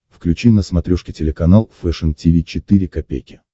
включи на смотрешке телеканал фэшн ти ви четыре ка